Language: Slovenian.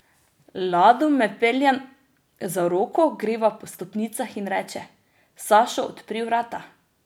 Lado me pelje za roko, greva po stopnicah in reče: 'Sašo odpri vrata'.